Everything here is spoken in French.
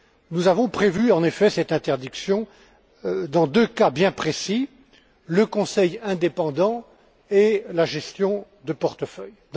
Nous avons prévu, en effet, cette interdiction dans deux cas bien précis le conseil indépendant et la gestion de portefeuilles.